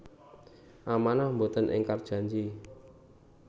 Amanah Mboten ingkar janji